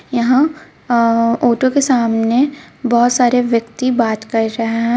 यहां अ-ऑटो के सामने बहुत सारे व्यक्ति बात कर रहे है.